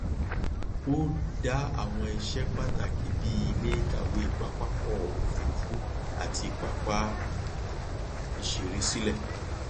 ó dá àwọn iṣẹ pàtàkì bíi ilé ìkàwé pápákọ òfuurufú àti pápá ìṣeré sílẹ